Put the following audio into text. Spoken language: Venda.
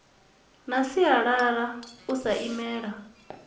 na sialala u sa imelwa